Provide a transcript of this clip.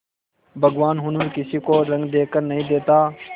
भगवान हुनर किसी को रंग देखकर नहीं देता